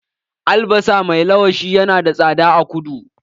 Albasa mai lawashi ya na da tsada a kudu.